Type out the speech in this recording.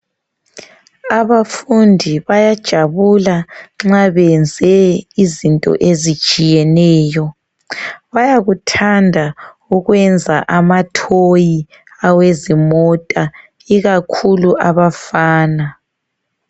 Abafundi bayajabula nxa benze izinto ezitshiyeneyo. Bayakuthanda ukwenza amathoyi awezimota. Ikakhulu abafana.